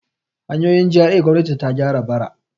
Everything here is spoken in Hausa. Hanyoyin GRA gwamnati ta gyara bara.